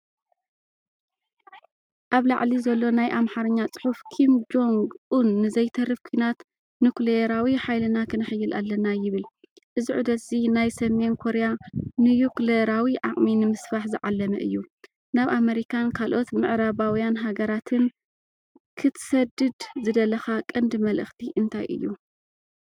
ኣብ ላዕሊ ዘሎ ናይ ኣምሓርኛ ጽሑፍ ኪም ጆንግ ኡን "ንዘይተርፍ ኲናት ኑክሌራዊ ሓይልና ከነሐይል ኣለና" ይብል። እዚ ዑደት’ዚ ናይ ሰሜን ኮርያ ኒዩክለራዊ ዓቕሚ ንምስፋሕ ዝዓለመ’ዩ። ናብ ኣመሪካን ካልኦት ምዕራባውያን ሃገራትን ክትሰድድ ዝደለኻ ቀንዲ መልእኽቲ እንታይ እዩ?